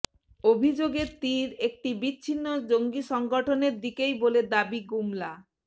অভিযোগের তির একটি বিচ্ছিন্ন জঙ্গি সংগঠনের দিকেই বলে দাবি গুমলা